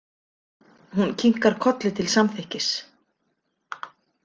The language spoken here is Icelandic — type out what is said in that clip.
Hún kinkar kolli til samþykkis.